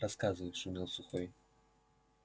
рассказывай шумел сухой